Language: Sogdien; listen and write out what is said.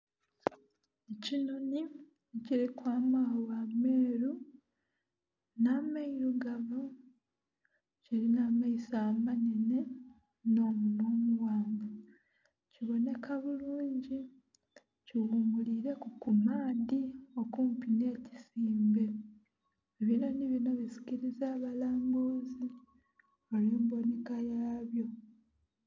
Ekinhonhi ekilinha amaghagha ameeru nha meirugavu kilinha amaiso amanenhe nho munhwa omughanvu. Kibonheka bulungi kighumulileku ku maadhi okumpi nhe kisimbe. Ebinhonhi binho bisikiliza abalambuzi olwe embonheka yabyo.